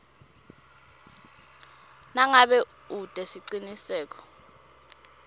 nangabe ute siciniseko